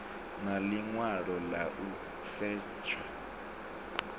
na ḽiṅwalo ḽa u setsha